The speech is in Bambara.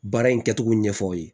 Baara in kɛcogo ɲɛfɔ aw ye